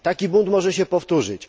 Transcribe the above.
Taki bunt może się powtórzyć.